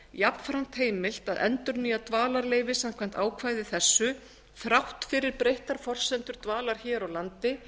jafnframt heimilt að endurnýja dvalarleyfi samkvæmt ákvæði þessu þrátt fyrir breyttar forsendur dvalar hér á landi